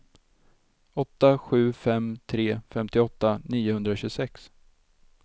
åtta sju fem tre femtioåtta niohundratjugosex